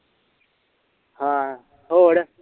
ਹਾਂ ਹੋਰ